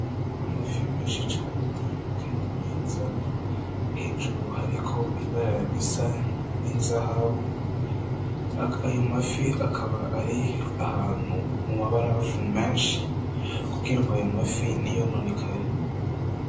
Amafi menshi cane kandi meza, hejuru hariko ibara risa n'inzahabu, ayo mafi akaba ari ahantu mu mabarafu menshi kugira ngo ayo mafi ntiyononekare.